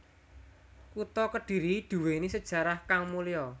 Kutha Kedhiri duwéni sejarah kang mulya